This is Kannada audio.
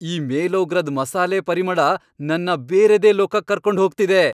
ಈ ಮೇಲೋಗ್ರದ್ ಮಸಾಲೆ ಪರಿಮಳ ನನ್ನ ಬೇರೆದೇ ಲೋಕಕ್ ಕರ್ಕೊಂಡ್ ಹೋಗ್ತಿದೆ.